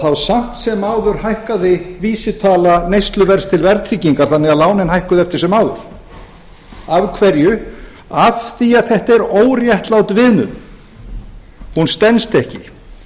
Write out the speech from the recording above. þá samt sem áður hækkaði vísitala neysluverðs til verðtryggingar þannig að lánin hækkuðu eftir sem áður af hverju af því að þetta er óréttlát viðmiðun hún stenst ekki